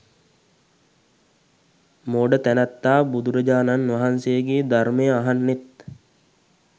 මෝඩ තැනැත්තා බුදුරජාණන් වහන්සේගේ ධර්මය අහන්නෙත්